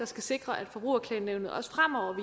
skal sikre at forbrugerklagenævnet også fremover